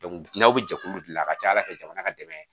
n'aw bɛ jɛkulu de dilan a ka ca ala fɛ jamana ka dɛmɛ